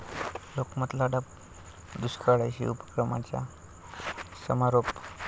लोकमत लढा दुष्काळाशी' उपक्रमाचा समारोप